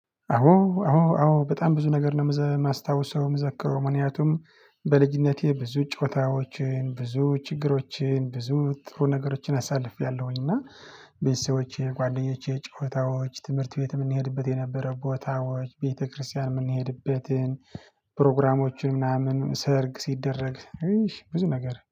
አዎ አዎ አዎ በጣም ብዙ ነገር ነው የምዘ የማስታውሰው የምዘከረው ምክንያቱም በልጅነቴ ብዙ ጨዋታዎችን ብዙ ችግሮችን ብዙ ጥሩ ነገሮችን አሳልፌያለሁኝ። እና ቤተሰቦቼ ጓደኞቼ ጨዋታዎች ትምህርት ቤት የምንሄድበት የነበረ ቦታዎች ቤተክርስቲያን የምንሄድበትን ፕሮግራሞችን ምናምን ሰርግ ሲደረግ ብዙ ነገር